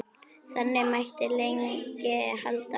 Þannig mætti lengi halda áfram.